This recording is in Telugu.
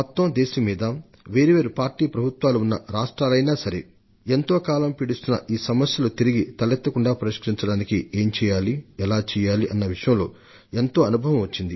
శాశ్వత పరిష్కారాలను కనుగొనడం గురించి ఆలోచన చేయాల్సివున్నదని అంతే కాకుండా ఎంతోకాలంగా ఎదురవుతున్న సమస్యను తీర్చగల ఆచరణ సాధ్యమైన పరిష్కార మార్గాలను కూడా అనుసరించవలసివున్నదని మేం గ్రహించాం